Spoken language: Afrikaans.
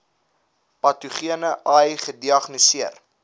patogene ai gediagnoseer